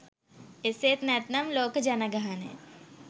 එසේත් නැත්නම් ලෝක ජනගහනය